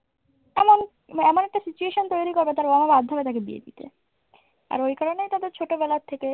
মানে এমন একটা situation তৈরি করবে তার বাবার বাধ্য হবে তাকে বিয়ে দিতে। আর ওই কারণেই তাদের ছোটবেলার থেকে